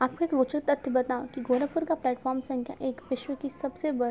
आपको एक रोजक तथ्य बताऊ गोरखपुर का प्लेटफार्म संख्या एक विश्व की सबसे बड़ी --